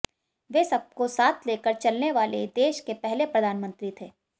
वे सबको साथ लेकर चलने वाले देश के पहले प्रधानमंत्री थे